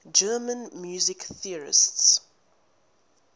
german music theorists